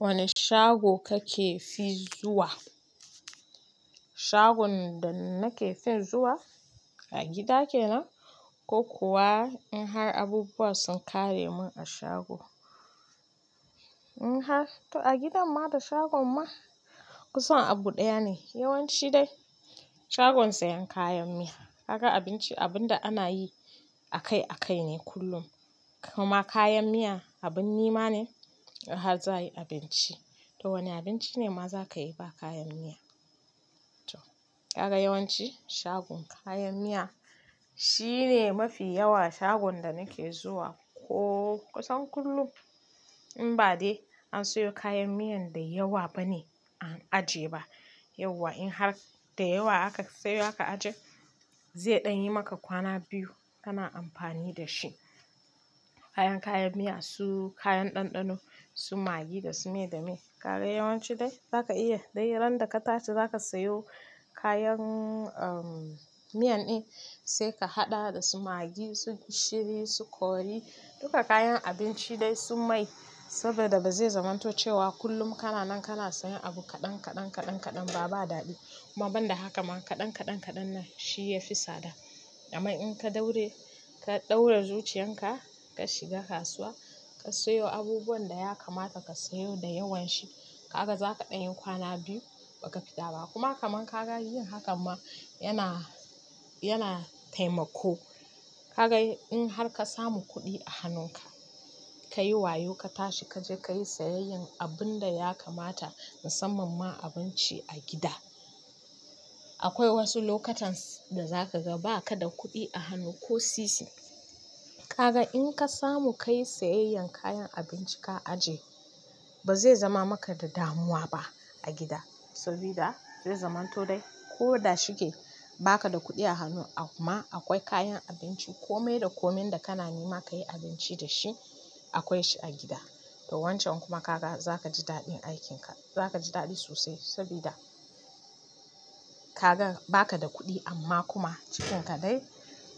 Wane shago kake fi zuwa? Shagon da nake fin zuwa a gida kenan, ko kuwa in har abubuwa sun ƙare min a shago. In har to a gidan ma da shagon ma kusan abu ɗaya ne. Yawanci dai shagon sayan kayan miya. Kaga abinci abun da ana yi akai-akai ne kullum kuma kayan miya abin nema ne in har za a yi abinci. To wane abinci ne ma za ka yi ba kayan miya. To, ka ga yawanci shagon kayan miya shine mafi yawa shagon da nake zuwa ko kusan kullum. In ba dai an siyo kayan miyan da yawa ba ne an ajiye ba. Yauwa in har da yawa aka siyo aka ajiye zai ɗan yi maka kwana biyu kana amfani da shi. Kayan-kayan miya su kayan ɗanɗano su magi da su me da me. Kaga yawanci dai za ka iya dai ran da ka tashi za ka siyo kayan, um, miyan ɗin sai ka haɗa da su magi, su gishiri, su kori duka kayan abinci dai su mai saboda ba zai zamanto cewa kullum kana nan kana siyan abu kaɗan, kaɗan, kaɗan, kaɗan ba, ba daɗi. Kuma ban da haka ma kaɗan, kaɗan, kaɗan na shi yafi sada. A ma in ka daure, ka ɗaure zuciyan ka, ka shiga kasuwa ka siyo abubuwan da ya kamata ka siyo da yawan shi. Kaga za ka ɗan yi kwana biyu ba ka fita ba kuma kaman ka ga yin hakan ma yana, yana taimako. Ka ga in har ka samu kuɗi a hannunka ka yi wayo ka tashi ka je ka yi siyayyan abun da ya kamata musamman ma abinci a gida. Akwai wasu lokutan da za ka ga ba ka da kuɗi a hannu ko sisi. Kaga in ka samu ka yi siyayyan kayan abinci ka ajiye ba zai zama maka da damuwa ba a gida. Sabida zai zamanto dai ko da shige ba ka da kuɗi a hannu a kuma akwai kayan abinci kome da komin da kana nema ka yi abinci da shi akwai shi a gida. To wancan kuma ka ga za ka ji daɗin aikin ka. Za ka ji daɗi sosai sabida ka gan ba ka da kuɗi amma kuma cikinka dai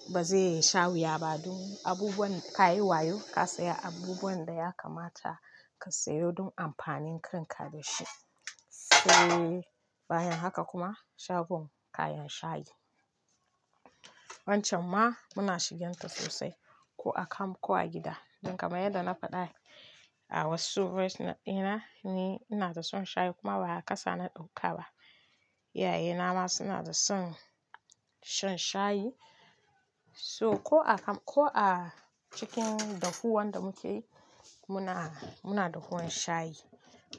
ba zai sha wuya ba. Don, abubuwan ka yi wayo ka siya abubuwan da ya kamata ka siyo don amfanin kan ka da shi. Sai bayan haka kuma shagon kayan shayi. Wancan ma muna shiginta sosai ko a camp ko a gida. Don kaman yadda na faɗa a wasu voice dina ni ina da son shayi kuma ba a kasa na ɗauka ba. Iyayena ma suna da son shan shayi. So ko a camp ko a cikin dafuwan da muke yimuna, muna dahuwan shayi.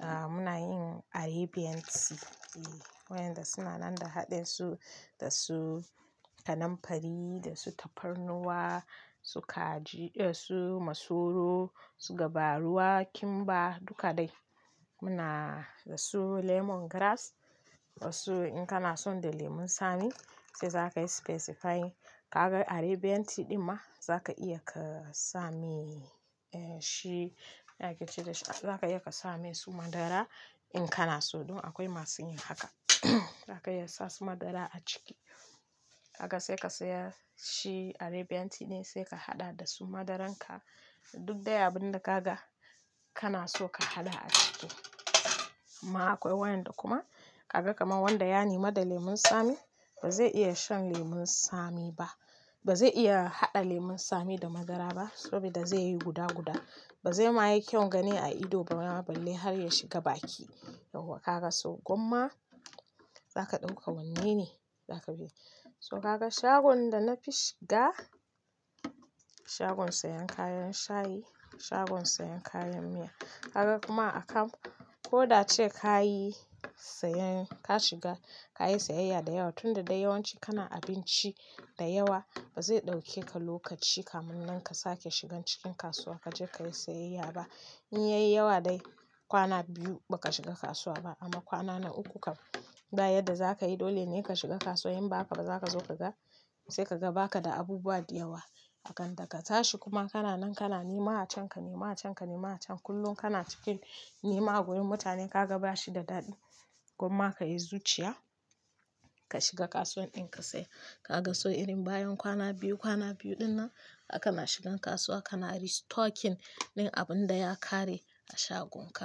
Ah, muna yin Arabian tea. E, wayanda suna nan da haɗinsu da su kanamfari, da su tafarnuwa, su kaji, eh su masoro, su gabaruwa, kimba duka dai. Muna da su lemongrass wasu in kana son da lemun tsami sai za ka yi specify. Kaga Arabian tea ɗin ma za ka iya ka same, eh shi ya yake ce da shi, za ka iya ka same su madara in kana so. Dun akwai masu yin haka. Za ka iya sa su madara a ciki. Kaga sai ka siya shi Arabian tea ne sai ka haɗa da su madaranka da duk dai abun da ka ga kana so ka haɗa a ciki. Amma akwai wayanda kuma ka ga kamar wanda ya nima da lemun tsami ba zai iya shan lemun tsami ba. Ba zai iya haɗa lemun tsami da madara ba sabida zai yi guda guda. Ba zai ma yi kyaun gani a ido ba ma balle har ya shiga baki. Yauwa kaga so gomma za ka ɗauka wanne ne za ka bi. So kaga shagon da na fi shiga shagon sayan kayan shayi, shagon sayan kayan miya. Kaga kuma a camp ko da ce ka yi siyen ka shiga ka yi siyayya da yawa tunda dai yawanci kana abinci da yawa ba zai ɗauke ka lokaci kamun nan ka sake shigan cikin kasuwa ka je ka yi siyayya ba. In yayi yawa dai kwana biyu ba ka shiga kasuwa ba amma kwana na uku kam, bayan da za ka yi dole ne ka shiga kasuwa in ba haka ba za ka zo ka ga sai ka ga ba ka da abubuwa da yawa. Akan da ka tashi kuma kana nan kana nema a can, ka nema a can, ka nema a can kullum kana cikin nema a wurin mutanen ka ga bashi da daɗi gomma ka yi zuciya ka shiga kasuwan ɗin ka siya. Kaga so irin bayan kwana biyu, kwana biyu ɗin nan a kana shigan kasuwa a kana restocking din abun da ya ƙare a shagon ka.